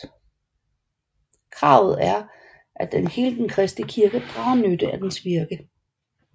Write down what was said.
Kravet er at hele den kristne kirke drager nytte af deres virke